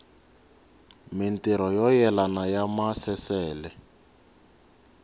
mintirho yo yelana ya maasesele